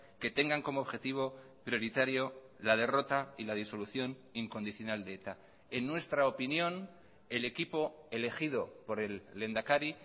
que tengan como objetivo prioritario la derrota y la disolución incondicional de eta en nuestra opinión el equipo elegido por el lehendakari